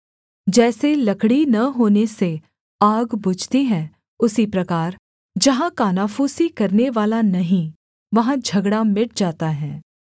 जैसे लकड़ी न होने से आग बुझती है उसी प्रकार जहाँ कानाफूसी करनेवाला नहीं वहाँ झगड़ा मिट जाता है